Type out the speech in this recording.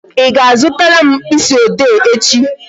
Ị ga-azutara m mkpịsị ode echi?